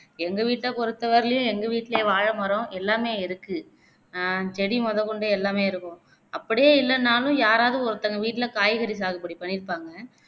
எங்க வீட்ட பொருத்தவரையிலையும் எங்க வீட்டுலே வாழைமரம் எல்லாமே இருக்கு அஹ் செடி மொதக்கொண்டு எல்லாமே இருக்கும் அப்படியே இல்லன்னாலும் யாரவது ஒருத்தவங்க வீட்டிலே காய்கறி சாகுபடி பண்ணீருப்பாங்க